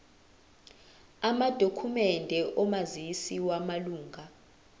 amadokhumende omazisi wamalunga